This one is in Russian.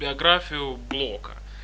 биографию блока